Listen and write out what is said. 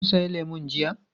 Kun sayi lemu jiya.